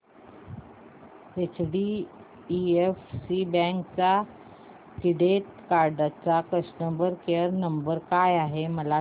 HDFC bank credit card चा customer care number काय आहे मला सांगा